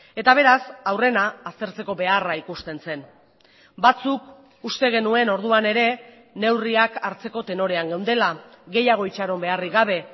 eta beraz aurrena aztertzeko beharra ikusten zen batzuk uste genuen orduan ere neurriak hartzeko tenorean geundela gehiago itxaron beharrik gabe